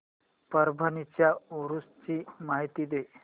परभणी च्या उरूस ची माहिती दे